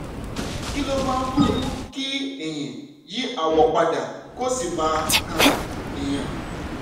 kí ló máa ń mú kí eyín yí àwọ̀ pa dà kó sì máa kan èèyàn?